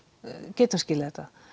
getum skilið þetta